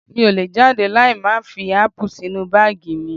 Mi ò lè jáde láì má fi ápù sínú báàgì mi